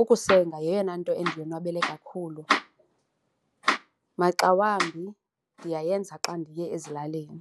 Ukusenga yeyona nto endiyonwabele kakhulu, maxa wambi ndiyayenza xa ndiye ezilalini.